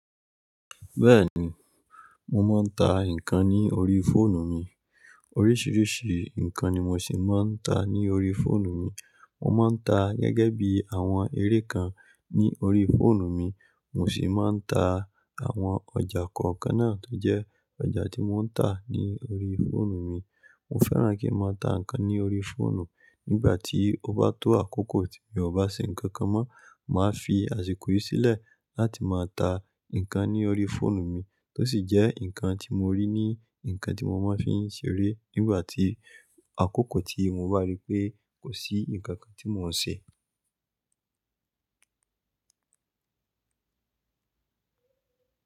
Bẹ́ẹ̀ni, mo máa ń ta nǹkan ní orí fóònù mi. Oríṣìíríṣìí nǹkan ni mo sì máa ń ta ní orí fóònù mi. Mo máa ń ta gẹ́gẹ́ bí àwọn eré kan ní orí fóònù mi, mo sì máa ń ta àwọn ọjà kọ̀ọ̀kan náà tó jẹ́ ọjà tí mo ń ta ní orí fóònù mi. Mo fẹ́ràn kí ń máa ta nǹkan ní orí fóònù. Nígbà tí ó bá tó àkókò tí mo bá ṣe nǹkan kan mọ́, màá fi àsìkò yìí sílẹ̀ láti máa ta nǹkan ní orí fóònù mi tó sì jẹ́ nǹkan tí mo rí ní nǹkan tí mo máa fi ń ṣeré nígbà tí àkókò tí mo bá rí pé kò sí nǹkan kan tí mò ń ṣe.